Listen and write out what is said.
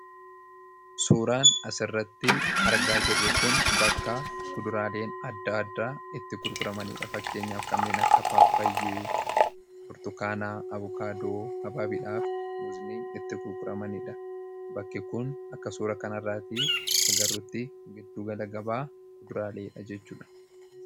suuraan asirratti argaa jirru kun bakka kuduraaleen adda adda itti kulquramaniidha fakkeenyaaf kanneen akka paappayyee bortokaanaa abukaadoo habaabiidhaaf muziniin itti kulquramaniidha bakke kun akka suura kanarraatii agarrutti geddu gala gabaa kuduraalee dha jechuuda